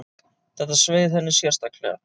Þetta sveið henni sérstaklega.